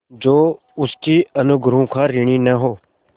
जो उसके अनुग्रहों का ऋणी न हो